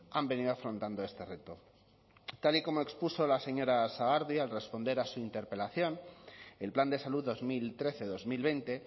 han venido afrontando este reto tal y como expuso la señora sagardui al responder a su interpelación el plan de salud dos mil trece dos mil veinte